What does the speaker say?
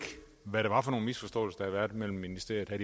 hvad det var for nogen misforståelser været mellem ministerierne